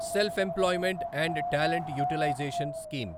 self employment and talent utilization scheme